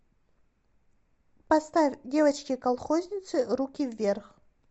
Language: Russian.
поставь девочки колхозницы руки вверх